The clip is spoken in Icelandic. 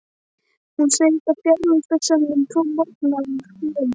Hún segist hafa fjarvistarsönnun tvo morgna af þremur.